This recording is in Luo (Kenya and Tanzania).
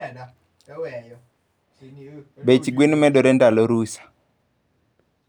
Bech gwen medero ndalo rusa.